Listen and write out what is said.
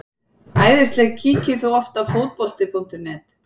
æðisleg Kíkir þú oft á Fótbolti.net?